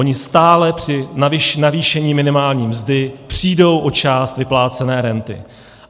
Oni stále při navýšení minimální mzdy přijdou o část vyplácené renty.